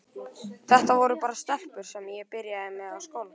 Þetta voru bara stelpur sem ég byrjaði með á skólaballi.